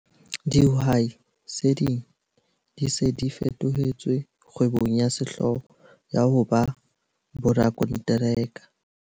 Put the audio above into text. Dihwai tse ding di se di fetohetse kgwebong ya sehlooho ya ho ba borakonteraka.